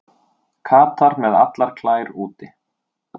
Katar með allar klær úti